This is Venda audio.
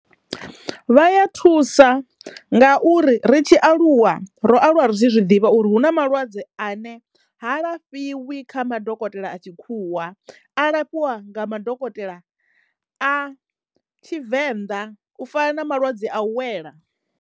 Vha ya thusa ngauri ri tshi aluwa ro aluwa ri tshi zwiḓivha uri hu na malwadze a ne ha lafhiwi kha madokotela a tshikhuwa alafhiwa nga madokotela a tshivenḓa u fana na malwadze a u wela.